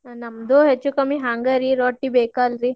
ನಮ್ದು ಹೆಚ್ಚು ಕಮ್ಮಿ ಹಂಗರೀ ರೊಟ್ಟಿ ಬೇಕಲ್ರೀ.